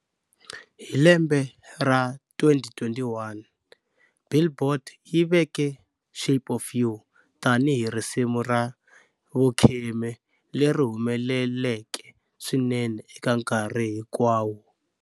Hi lembe ra 2021,"Billboard" yi veke"Shape of You" tani hi risimu ra vukhume leri humeleleke swinene eka nkarhi hinkwawo.